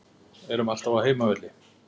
Erum alltaf á heimavelli